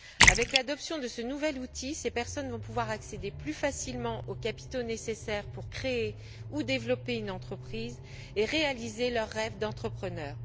Avec l'adoption de ce nouvel outil, ces personnes vont pouvoir accéder plus facilement aux capitaux nécessaires pour créer ou développer une entreprise et réaliser leur rêve d'entrepreneur.